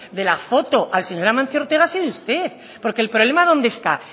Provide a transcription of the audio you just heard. de la foto al señor amancio ortega ha sido usted porque el problema dónde está